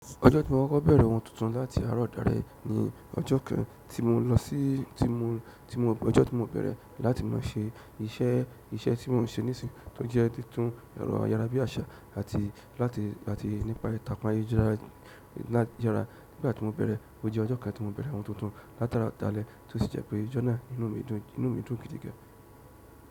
Ojo ti mo ko bẹrẹ oun tuntun láti àárọ̀ dale ni ọjọ́ kan ti mo lọ sí ti mo, ti mo, ọjọ́ ti mo bẹ̀rẹ̀ láti máa ṣe iṣẹ́, iṣẹ́ tí mò ń ṣe nísinsìnyí tó jẹ títún èrọ ayára bí àṣà àti láti àti nípa ìtàpàle jẹrà. Nígbà tí mo bẹ̀rẹ̀ ó jẹ́ ọjọ́ kan tí mo bẹ̀rẹ̀ oun tuntun látaro dalẹ̀ to sì jẹ́ pé ọjọ́ náà inú mi dùn, inú mi dùn gidi gan.